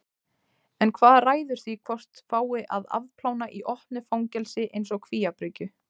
En hvað ræður því hvort fái að afplána í opnu fangelsi eins og Kvíabryggju?